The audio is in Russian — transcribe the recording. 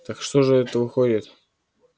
так что же это выходит